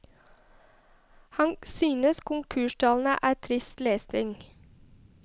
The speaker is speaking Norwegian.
Han synes konkurstallene er trist lesning.